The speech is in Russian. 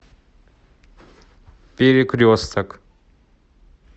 перекресток